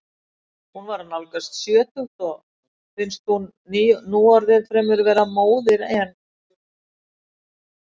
Hún er að nálgast sjötugt og finnst hún núorðið fremur vera móðir en.